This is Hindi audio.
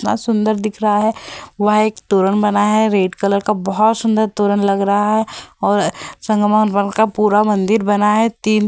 बहुत सुन्दर दिख रहा है वहाँ एक तोरण बना है रेड कलर का बहुत सुन्दर तोरण लग रहा है और संग्राम भगवान का पूरा मंदिर बना है तीन --